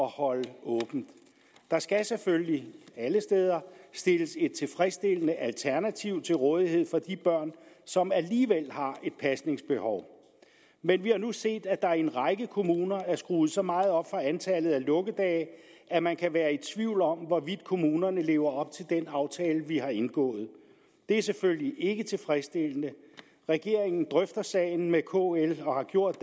holde åbent der skal selvfølgelig alle steder stilles et tilfredsstillende alternativ til rådighed for de børn som alligevel har et pasningsbehov men vi har nu set at der i en række kommuner er skruet så meget op for antallet af lukkedage at man kan være i tvivl om hvorvidt kommunerne lever op til den aftale vi har indgået det er selvfølgelig ikke tilfredsstillende regeringen drøfter sagen med kl og har gjort